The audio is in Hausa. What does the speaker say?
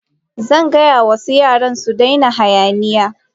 Zan gaya wa yara su daina hayaniya.